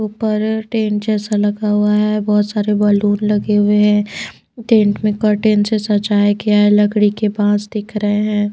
ऊपर टेंट जैसा लगा हुआ है बहुत सारे बलून लगे हुए हैं टेंट में कर्टेन से सजाया गया है लकड़ी के बांस दिख रहे हैं।